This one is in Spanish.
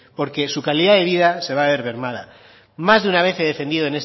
porque su calidad de vida se va a ver mermada más de una vez he defendido